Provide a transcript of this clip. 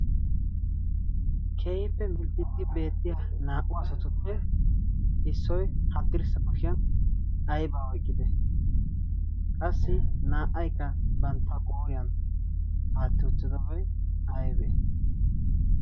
keehippe minxxixxi beettiya naa"u asatuppe issoi haddirssa koshiyan aibaa oiqqite qassi naa"aykka bantta qooriyan aatti uttidoboy aybe?